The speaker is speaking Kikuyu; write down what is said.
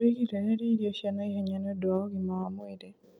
wĩgirĩrĩrie irio cia naihenya nĩũndũ wa ũgima wa mwĩrĩ